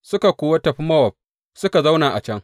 Suka kuwa tafi Mowab suka zauna a can.